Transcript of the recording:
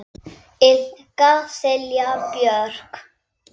Ykkar Silja Björk.